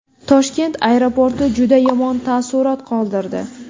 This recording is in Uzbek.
Toshkent aeroporti juda yomon taassurot qoldirdi.